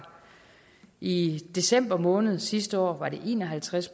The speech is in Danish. i december måned sidste år var det en og halvtreds